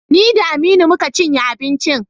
Ni da Aminu mu ka cinye abincin.